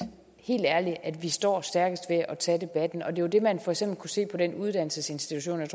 helt ærligt at vi står stærkest ved at tage debatten og det er jo det man for eksempel kunne se på den uddannelsesinstitution i